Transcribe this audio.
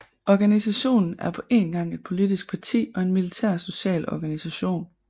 Organisationen er på én gang et politisk parti og en militær og social organisation